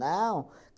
Não.